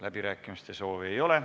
Läbirääkimiste soovi ei ole.